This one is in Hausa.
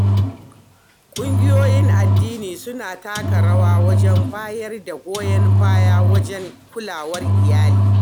Ƙungiyoyin addini suna taka rawa wajen bayar da goyon baya wajen kulawar iyali.